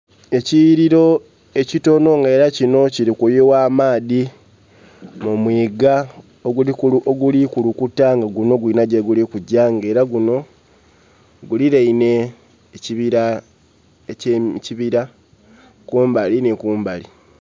Ekiyiliro ekitonho nga era kinho kilikuyugha amaadhi mu mwiga oguli kukulukuta nga guno gulinha gyeguli kulaga nga era guno guliraine ekibira kumbali nhi kumbali